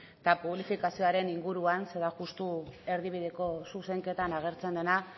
eta publifikazioaren inguruan ze da justu erdibideko zuzenketan agertzen dena